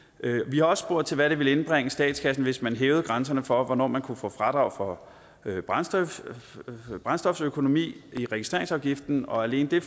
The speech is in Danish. har også spurgt til hvad det ville indbringe statskassen hvis man hævede grænserne for hvornår man kunne få fradrag for brændstoføkonomi i registreringsafgiften og alene det